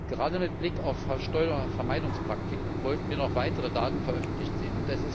Gerade mit Blick auf Steuervermeidungspraktiken wollten wir noch weitere Daten veröffentlicht sehen.